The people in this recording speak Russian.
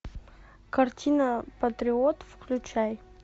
картина патриот включай